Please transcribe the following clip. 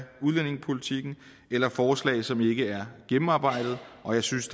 udlændingepolitikken eller forslag som ikke er gennemarbejdet og jeg synes